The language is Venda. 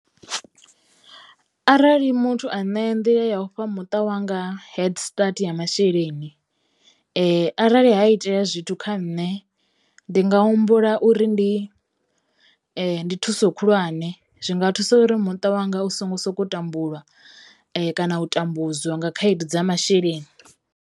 Arali muthu a nṋea nḓila ya u fha muṱa wanga head start ya masheleni arali ha itea zwithu kha nṋe ndi nga humbula uri ndi ndi thuso khulwane. Zwinga thusa uri muṱa wanga u songo soko tambula kana u tambudzwa nga khaedu dza masheleni.